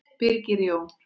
Birgir Jón.